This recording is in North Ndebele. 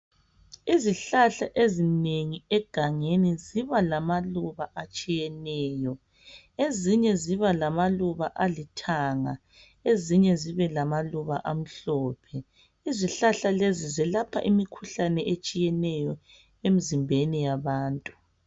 Izihlahla ezinengi egangeni ziba lamaluba atshiyeneyo. Ezinye ziba lamaluba alithanga, ezinye zibe lamaluba amhlophe Izihlahla lezi zelapha imikhuhlane etshiyeneyo emzimbeni yabantu.